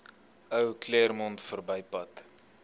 ou claremont verbypad